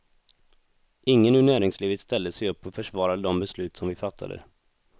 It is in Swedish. Ingen ur näringslivet ställde sig upp och försvarade de beslut som vi fattade.